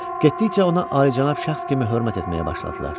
Getdikcə ona alicənab şəxs kimi hörmət etməyə başladılar.